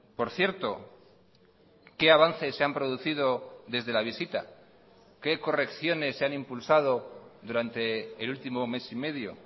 por cierto qué avances se han producido desde la visita qué correcciones se han impulsado durante el último mes y medio